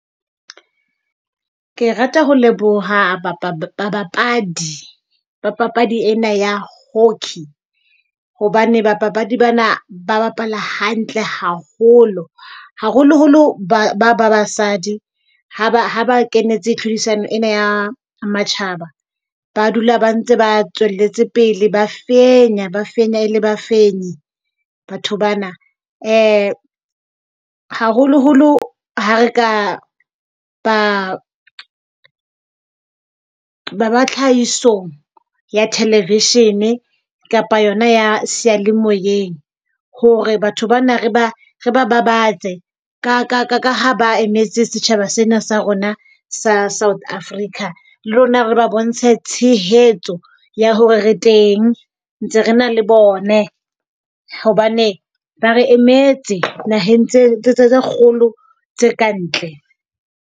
Ke rata ho leboha babapadi ba papadi ena ya hockey. Hobane bapapadi bana ba bapala hantle haholo. Haholoholo ba ba ba basadi ha ba ha ba kenetse tlhodisano ena ya matjhaba. Ba dula ba ntse ba tswelletse pele. Ba fenya, ba fenya. E le bafenyi batho bana. Haholoholo ha re ka ba ba ba tlhahisong ya television-e kapa yona ya seyalemoyeng. Hore batho bana re ba re ba babatse ka ha ba emetse setjhaba sena sa rona sa South Africa. Le rona re ba bontshe tshehetso ya hore re teng ntse re na le bone hobane ba re emetse naheng tse kgolo tsa kantle.